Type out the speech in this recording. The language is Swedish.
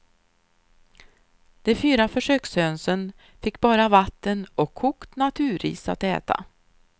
De fyra försökshönsen fick bara vatten och kokt naturris att äta.